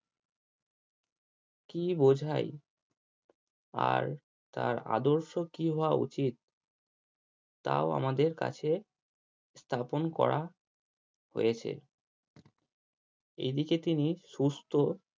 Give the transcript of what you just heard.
কি বোঝায় আর তার আদর্শ কি হাওয়া উচিত তাও আমাদের কাছে স্থাপন করা হয়েছে। এদিকে তিনি সুস্থ